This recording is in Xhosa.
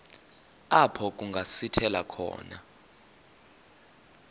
apho kungasithela khona